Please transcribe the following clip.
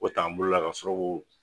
O t'an bolola ka sɔrɔ ko o.